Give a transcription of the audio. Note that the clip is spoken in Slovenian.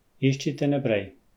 Iščite naprej.